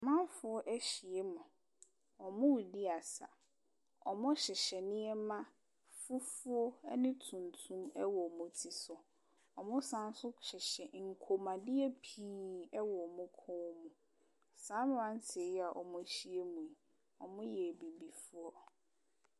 Amanfoɔ ahyia mu. Wɔredi asa. Wɔhyehyɛ nneɛma fufuo ne tuntum wɔ wɔn ti si. Wɔsane nso hyehyɛ nkɔnmuadeɛ pii wɔ wɔn kɔn mu. Saa mmeranteɛ yi a wɔahyia mu yi, wɔyɛ Abibifoɔ.